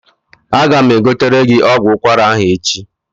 Aga m egotere gị ọgwụ ụkwara ahụ echi.